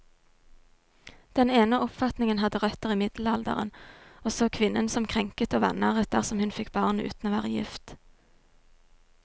Den ene oppfatningen hadde røtter i middelalderen, og så kvinnen som krenket og vanæret dersom hun fikk barn uten å være gift.